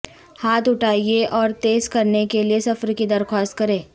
ہاتھ اٹھائیں اور تیز کرنے کے لئے سفر کی درخواست کریں